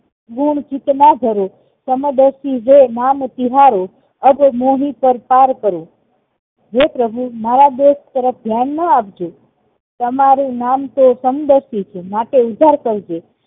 ગુણ ચિત ના ધરો નામ તિહારો અબ મોહી કર્તાર કરો હે પ્રભુ મારા દોષ તરફ ધ્યાન ના આપજો તમારું નામ તો સમદર્શી છે માટે ઉધ્ધાર કરજો